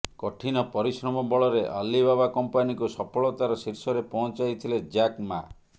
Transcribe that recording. କଠିନ ପରିଶ୍ରମ ବଳରେ ଅଲିବାବା କମ୍ପାନୀକୁ ସଫଳତାର ଶୀର୍ଷରେ ପହଞ୍ଚାଇଥିଲେ ଜ୍ୟାକ୍ ମା